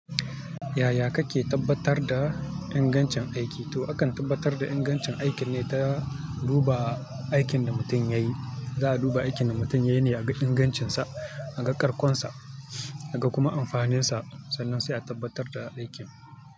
Yaya kake tabbatar da ingancin aiki? To akan tabbatar da ingancin aikin ne ta duba aikin da mutum yayi. Za a duba aikin da mutum yayi ne a ga ingancinsa, a ga karkonsa, a ga kuma amfaninsa, sannan sai a tabbatar da aikin.